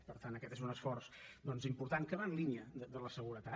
per tant aquest és un esforç important que va en línia de la seguretat